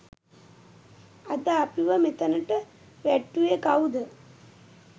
අද අපිව මෙතනට වැට්ටුවෙ කවුද?